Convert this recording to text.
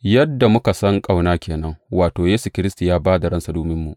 Yadda muka san ƙauna ke nan, wato, Yesu Kiristi ya ba da ransa dominmu.